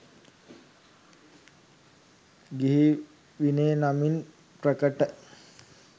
ගිහි විනය නමින් ප්‍රකට